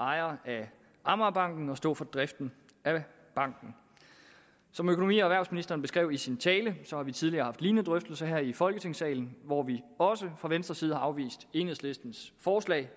ejer af amagerbanken og stå for driften af banken som økonomi og erhvervsministeren beskrev i sin tale har vi tidligere haft lignende drøftelser her i folketingssalen hvor vi også fra venstres side afviste enhedslistens forslag